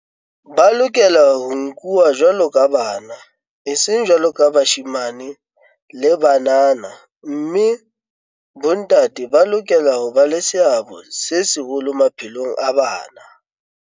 Ba lokela ho nkuwa jwaloka bana, eseng jwaloka bashemane le banana mme bontate ba lokela ho ba le seabo se seholo maphelong a bana.